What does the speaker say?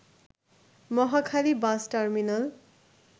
Mohakhali bus terminal